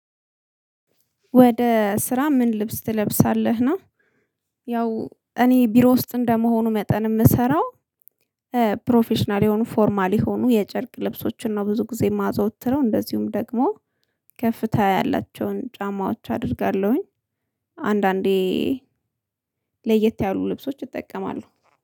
ወደ ስራ ምን ልብስ ትለብሳለህ ነው? ያው እኔ ቢሮ ውስጥ እንደመሆኑ መጠን የምሰራው። ፕሮፌሽናል የሆኑ ፎርማል የሆኑ የጨርቅ ልብሶችን ነው ብዙ ጊዜ የማዘወትረው እንደዚሁም ደግሞ ከፍታ ያላቸውን ጫማዎች አደርጋለሁኝ። አንዳንዴ ለየት ያሉ ልብሶች እጠቀማለሁ